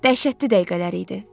Dəhşətli dəqiqələr idi.